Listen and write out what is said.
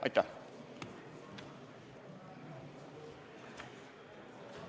Aitäh!